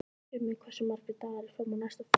Tumi, hversu margir dagar fram að næsta fríi?